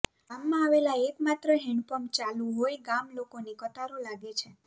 ગામમાં આવેલા એકમાત્ર હેન્ડપંપ ચાલુ હોઇ ગામ લોકોની કતારો લાગે છે